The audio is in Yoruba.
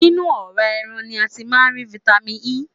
Nínu ọ̀rá ẹran ni a ti máá́ ń ri Vitamin E.